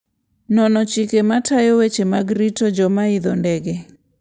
Nono chike matayo weche mag rito joma idho ndege.